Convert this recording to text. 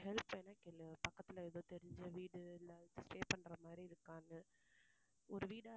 help வேணும்னா கேளு. பக்கத்துல ஏதோ தெரிஞ்ச வீடு இல்ல stay பண்ணுற மாதிரி இருக்கான்னு. ஒரு வீடா